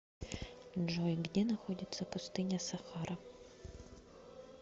джой где находится пустыня сахара